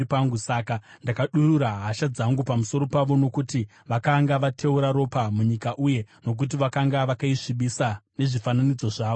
Saka ndakadurura hasha dzangu pamusoro pavo nokuti vakanga vateura ropa munyika uye nokuti vakanga vakaisvibisa nezvifananidzo zvavo.